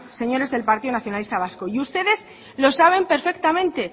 señores del partido nacionalista vasco y ustedes lo saben perfectamente